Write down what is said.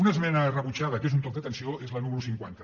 una esmena rebutjada que és un toc d’atenció és la número cinquanta